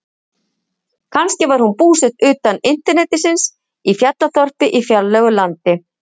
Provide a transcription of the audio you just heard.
Kannski var hún búsett utan internetsins, í fjallaþorpi í fjarlægu landi.